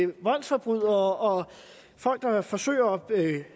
voldsforbrydere og folk der forsøger